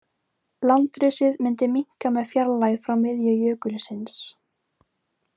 Landrisið myndi minnka með fjarlægð frá miðju jökulsins.